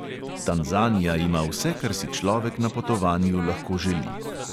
Tanzanija ima vse, kar si človek na potovanju lahko želi.